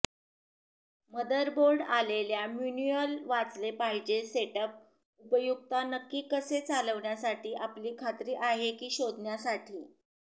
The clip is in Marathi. मदरबोर्ड आलेल्या मॅन्युअल वाचले पाहिजे सेटअप उपयुक्तता नक्की कसे चालविण्यासाठी आपली खात्री आहे की शोधण्यासाठी